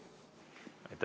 Aitäh!